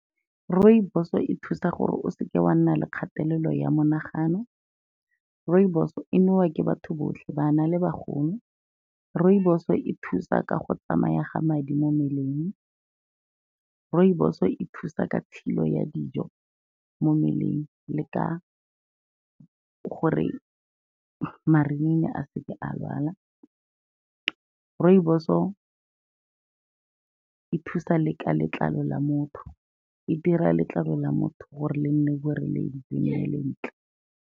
Rooibos-o e thusa gore o se ke wa nna le kgatelelo ya monagano. Rooibos-o e nowa ke batho botlhe, bana le bagolo. Rooibos-e e thusa ka go tsamaya ga madi mo mmeleng. Rooibos-o e thusa ka tshilo ya dijo mo mmeleng le ka gore marinini a se ke a lwala. Rooibos-o e thusa le ka letlalo la motho, e dira letlalo la motho gore le nne boreledi le nne le ntle.